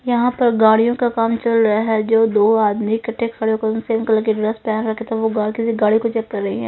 यहां पर गाड़ियों का काम चल रहा है जो दो आदमी इकट्ठे खड़े हो कर सेम कलर की ड्रेस पहन सके तो वो गलती से गाड़ी को चेक कर रही हैं।